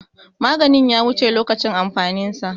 Maganin ya wuce lokacin amfanin sa.